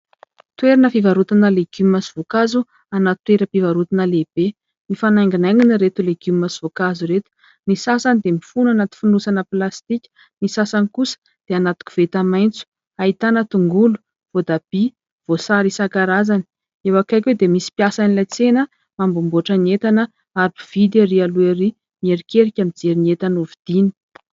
Toerana fivarotana legioma sy voankazo anaty toeram-pivarotana lehibe. Mifanainginaingina ireto legioma sy voankazo ireto, ny sasany dia mifono anaty fonosana plastika, ny sasany kosa dia anaty koveta maitso. Ahitana tongolo, voatabia, voasary isankarazany, eo akaiky eo dia misy mpiasan'ilay tsena manamboamboatra ny entana ary mpividy ery aloha ery mierikerika mijery ny entana ho vidiny.